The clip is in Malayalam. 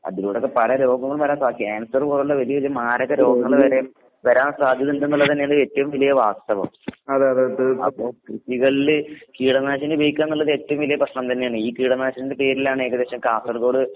അതിലൂടൊക്കെ പല രോഗങ്ങളും വരാൻ സാ ക്യാൻസർ പോലൊള്ള വലിയ വലിയ മാരക രോഗങ്ങള് വരേം വരാൻ സാധ്യതിണ്ട്ന്ന്ള്ളതന്നേണ് ഏറ്റോം വല്യ വാസ്തവം. അപ്പൊ കൃഷികളില് കീടനാശിനി ഉപയോഗിക്കാന്നിള്ളതേറ്റോം വലിയ പ്രശ്നം തന്നേന്ന്. ഈ കീടനാശിനീന്റെ പേരിലാണേകദേശം കാസർഗോഡ്